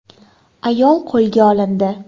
Ayol qo‘lga olindi.